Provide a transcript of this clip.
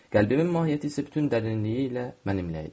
Qəlbimin mahiyyəti isə bütün dərinliyi ilə mənimlə idi.